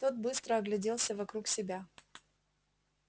тот быстро огляделся вокруг себя